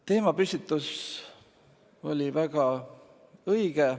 Teemapüstitus oli väga õige.